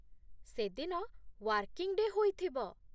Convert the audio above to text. ସେଦିନ working day' ହୋଇଥିବ ।